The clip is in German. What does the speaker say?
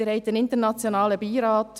Sie haben einen internationalen Beirat.